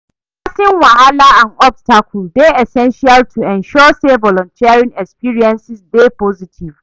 Addressing wahala and obstacle dey essential to ensure say volunteering experiences dey positive.